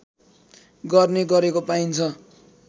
गर्ने गरेको पाइन्छ